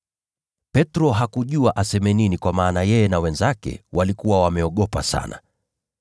Petro hakujua aseme nini kwa maana yeye na wenzake walikuwa wameogopa sana.